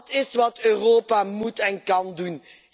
Dat is wat Europa moet en kan doen.